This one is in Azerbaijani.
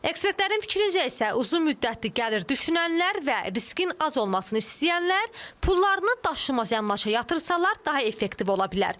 Ekspertlərin fikrincə isə uzunmüddətli gəlir düşünənlər və riskin az olmasını istəyənlər pullarını daşınmaz əmlaka yatırsalar daha effektiv ola bilər.